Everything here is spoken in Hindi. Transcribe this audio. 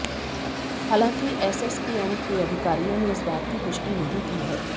हालांकि एसएसकेएम के अधिकारियों ने इस बात की पुष्टि नहीं की है